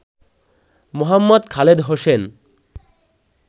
Mohammad Khaled Hossain